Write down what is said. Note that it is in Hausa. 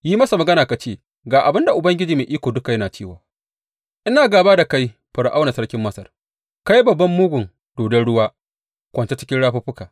Yi masa magana ka ce, Ga abin da Ubangiji Mai Iko Duka yana cewa, Ina gāba da kai, Fir’auna sarkin Masar, kai babban mugun dodon ruwa kwance cikin rafuffukanka.